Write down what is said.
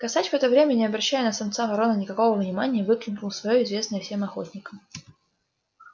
косач в это время не обращая на самца вороны никакого внимания выкликнул своё известное всем охотникам